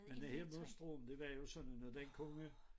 Men det hele monstrum det var jo sådan noget den kunne